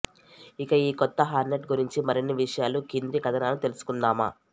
ఇక ఈ కొత్త హార్నెట్ గురించి మరిన్ని విషయాలు క్రింది కథనాల తెలుసుకుందామా